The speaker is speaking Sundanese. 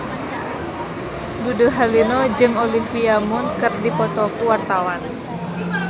Dude Herlino jeung Olivia Munn keur dipoto ku wartawan